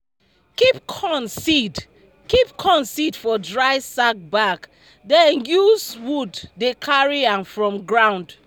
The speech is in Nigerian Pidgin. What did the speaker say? keep corn seed keep corn seed for dry sack bag den use wood dey carry am from ground.